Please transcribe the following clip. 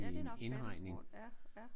Ja det er nok paddleboard ja